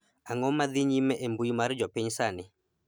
ang'o ma dhi nyime e mbui mar jopiny sani